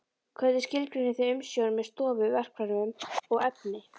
Hvernig skilgreinið þið umsjón með stofu, verkfærum og efni?